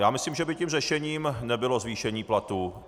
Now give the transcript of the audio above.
Já myslím, že by tím řešením nebylo zvýšení platů.